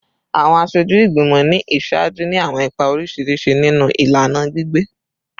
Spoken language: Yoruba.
Awọn aṣoju igbimọ ni iṣaaju ni awọn ipa oriṣiriṣi ninu ilana gbigbe